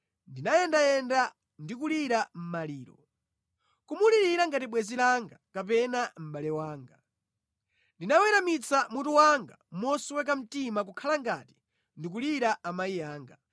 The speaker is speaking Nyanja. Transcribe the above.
ndinayendayenda ndi kulira maliro, kumulira ngati bwenzi langa kapena mʼbale wanga. Ndinaweramitsa mutu wanga mosweka mtima kukhala ngati ndikulira amayi anga.